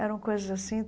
Eram coisas assim.